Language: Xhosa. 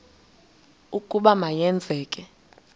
ukuba ma yenzeke